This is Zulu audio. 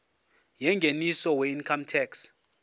yengeniso weincome tax